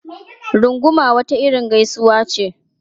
Runguma wata irin gaisuwa ce.